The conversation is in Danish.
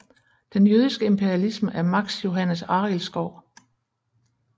Den jødiske imperialisme af Max Johannes Arildskov